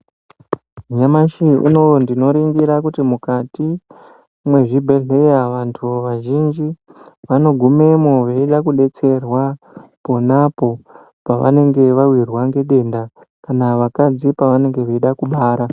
Nyamashi unowu ndinoringira kuti mukati mezvibhedhlera vantu vazhinji vanogumemo veide kudetserwa ponapo pevanenge vawirwa ngedenda kana vakadzi pevanenge veida kubara.